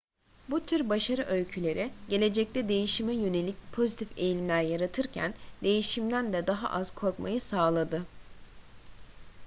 bu tür başarı öyküleri gelecekte değişime yönelik pozitif eğilimler yaratırken değişimden de daha az korkmayı sağladı